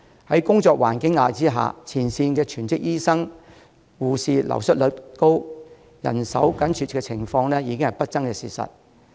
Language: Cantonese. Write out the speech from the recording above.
在工作環境的壓力下，前線全職醫生、護士流失率高，人手緊絀的情況已經是不爭的事實。